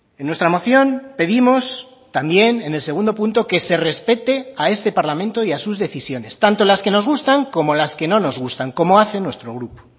en nuestra moción pedimos también en el segundo punto que se respete a este parlamento y a sus decisiones tanto las que nos gustan como las que no nos gustan como hace nuestro grupo